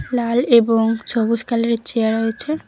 লাল এবং ছবুজ কালারের চেয়ার রয়েছে।